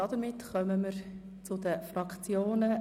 Damit kommen wir zu den Fraktionen.